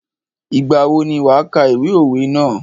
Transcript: Ìgbà wo ni wà kà ìwé òwe ná?